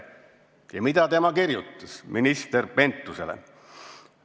Ja mida tema kirjutas minister Pentusele?